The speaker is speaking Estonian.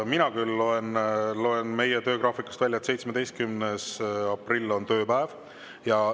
Mina küll loen meie töögraafikust välja, et 17. aprill on tööpäev.